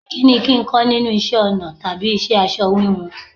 Kí ni kín ń kọ́ nínú isẹ́ ọnà tàbí iṣẹ́ aṣọ wíwun?